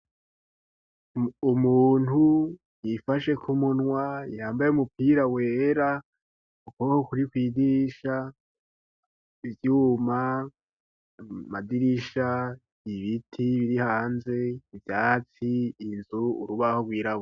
Umuntu yifashe ku munwa yambaye umupira wera ukuboko kuri kw'idirisha ivyuma, amadirisha, ibiti biri hanze, ivyatsi, inzu urubaho rwirabura.